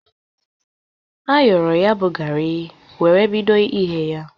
Ayọro ya bụ gari were bido ighe ya.